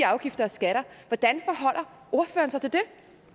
afgifter og skatter hvordan